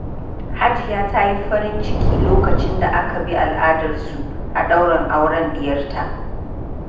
Hajiya ta yi farin ciki lokacin da aka bi al’adarsu a ɗaurin auren diyarta.